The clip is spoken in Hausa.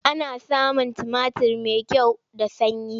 Ana samun tumatir mai kyau da sanyi.